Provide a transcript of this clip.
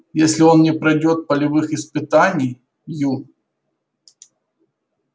если он не пройдёт полевых испытаний ю